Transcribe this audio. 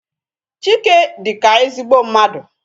Chike dịka ezigbo mmadụ.